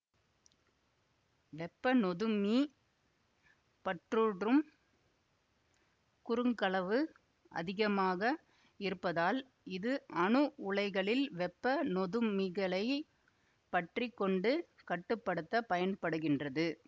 வெப்ப நொதுமி பற்றுட்றும் குறுக்களவு அதிகமாக இருப்பதால் இது அணு உலைகளில் வெப்ப நொதுமிகளைப் பற்றி கொண்டு கட்டு படுத்த பயன்படுகின்றது